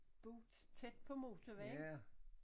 Boet tæt på motorvejen